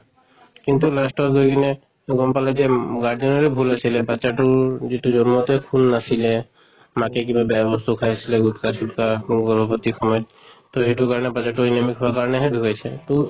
কিন্তু last ত গৈ কিনে তো গল পালে যে guardian ৰে ভুল আছিলে, বাচ্ছাটোৰ যিটো জন্মতে খুন নাছিলে মাকে কিবা বেয়া বস্তু খাইছিলে গুট্খা চুত্খা গৰ্ভৱতী সময়ত। তʼ এইটো কাৰণে বাচ্ছা টো anemic হোৱাৰ কাৰণেহে ঢুকাইছে। তʼ